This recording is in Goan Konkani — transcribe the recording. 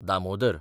दामोदर